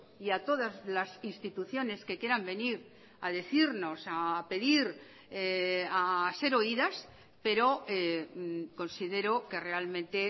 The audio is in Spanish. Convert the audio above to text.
y a todas las instituciones que quieran venir a decirnos a pedir a ser oídas pero considero que realmente